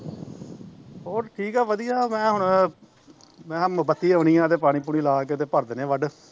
ਹੋਰ ਠੀਕ ਐ ਵਧੀਆ ਮੈਂ ਹੁਣ ਮੈਂ ਕਿਹਾ ਹੁਣ ਮੈਂ ਕਿਹਾ ਬੱਤੀ ਆਉਣੀ ਐ ਤੇ ਪਾਣੀ ਪੂਣੀ ਲਾਕੇ ਤੇ ਭਰ ਦਿਨੇ ਵੱਢ